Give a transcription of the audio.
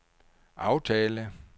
aftale